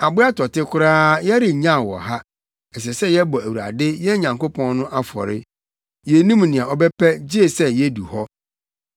Aboa tɔte koraa yɛrennyaw wɔ ha; ɛsɛ sɛ yɛbɔ Awurade, yɛn Nyankopɔn no afɔre. Yennim nea ɔbɛpɛ gye sɛ yedu hɔ.”